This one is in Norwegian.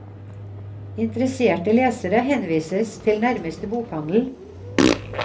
Interesserte lesere henvises til nærmeste bokhandel.